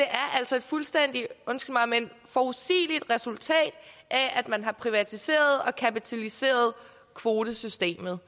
altså et fuldstændig undskyld mig forudsigeligt resultat af at man har privatiseret og kapitaliseret kvotesystemet